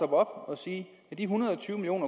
og sige at de en hundrede og tyve million